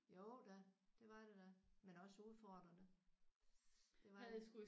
Jo da. Det var det da. Men også udfordrende. Det var det